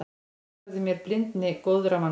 Notfærði mér blindni góðra manna.